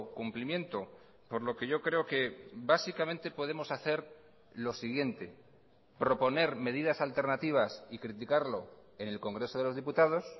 cumplimiento por lo que yo creo que básicamente podemos hacer lo siguiente proponer medidas alternativas y criticarlo en el congreso de los diputados